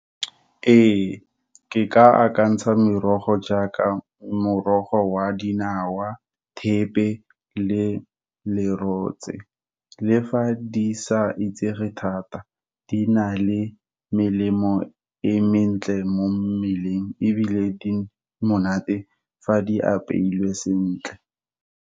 Ee, ke ka akantsha merogo jaaka, morogo wa dinawa, thepe, le lerotse. Le fa di sa itsege thata, di na le melemo e mentle mo mmeleng, ebile di monate fa di apeilwe sentle.